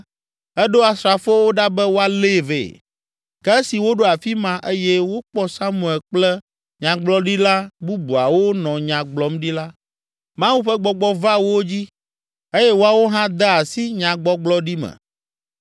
eɖo asrafowo ɖa be woalée vɛ. Ke esi woɖo afi ma eye wokpɔ Samuel kple nyagblɔɖila bubuwo nɔ nya gblɔm ɖi la, Mawu ƒe Gbɔgbɔ va wo dzi eye woawo hã de asi nyagbɔgblɔɖi me.